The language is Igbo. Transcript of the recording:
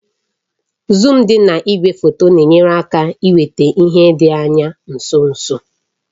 Zuum dị na igwefoto na-enyere aka iweta ihe dị anya nso nso